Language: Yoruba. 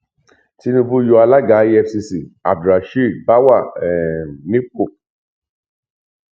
tinubu yọ alága efcc abdulrasheed báwà um nípò